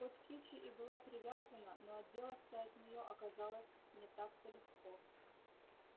хоть кичи и была привязана но отделаться от неё оказалось не так то легко